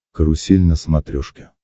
карусель на смотрешке